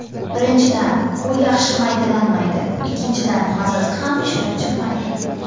Birinchidan, u yaxshi maydalanmaydi, ikkinchidan mazasi ham shirin chiqmaydi.